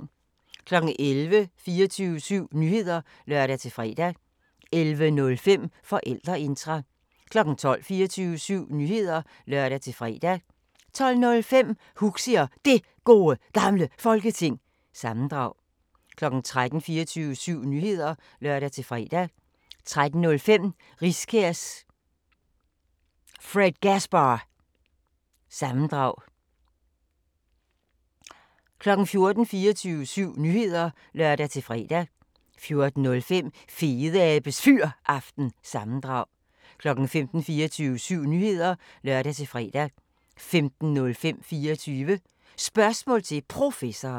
11:00: 24syv Nyheder (lør-fre) 11:05: Forældreintra 12:00: 24syv Nyheder (lør-fre) 12:05: Huxi og Det Gode Gamle Folketing – sammendrag 13:00: 24syv Nyheder (lør-fre) 13:05: Riskærs Fredgasbar- sammendrag 14:00: 24syv Nyheder (lør-fre) 14:05: Fedeabes Fyraften – sammendrag 15:00: 24syv Nyheder (lør-fre) 15:05: 24 Spørgsmål til Professoren